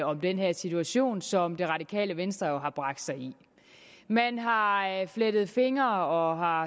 om den her situation som det radikale venstre har bragt sig i man har flettet fingre og har